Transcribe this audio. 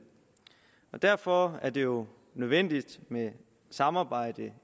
derfor er det jo nødvendigt med et samarbejde